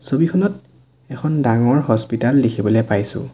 ছবিখনত এখন ডাঙৰ হস্পিটেল দেখিবলে পাইছোঁ।